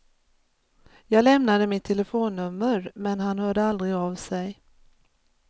Jag lämnade mitt telefonnummer, men han hörde aldrig av sig.